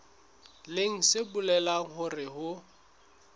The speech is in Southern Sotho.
leng se bolelang hore ho